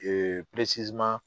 Ee